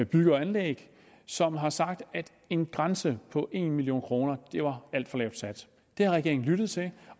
bygge og anlæg som har sagt at en grænse på en million kroner var alt for lavt sat det har regeringen lyttet til